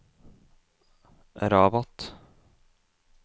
Rabat